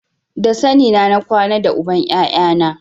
Da sane na na kwana da uban ƴaƴana